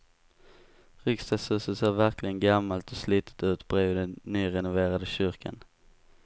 Riksdagshuset ser verkligen gammalt och slitet ut bredvid den nyrenoverade kyrkan.